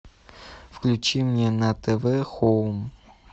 включи мне на тв хоум